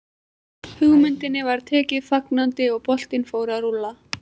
Hugmyndinni var tekið fagnandi og boltinn fór að rúlla.